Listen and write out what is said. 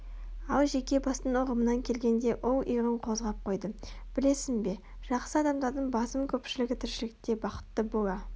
ал жеке бастың ұғымынан келгенде ол иығын қозғап қойды білесің бе жақсы адамдардың басым көпшілігі тіршілікте бақытты бола